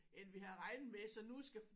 End vi havde regnet med så nu skal